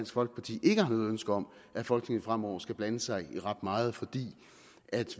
folkeparti ikke har noget ønske om at folketinget fremover skal blande sig i ret meget fordi